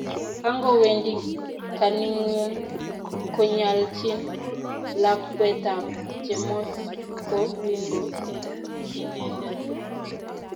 Kingowendi kwaningung kongalchin lakwetab Chemos ko kingo eng inendet